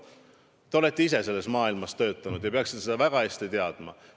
Te olete ise selles maailmas töötanud ja peaksite seda väga hästi teadma.